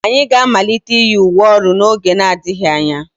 Anyị ga-amalite iyi uwe ụlọ ọrụ n'oge adịghị anya.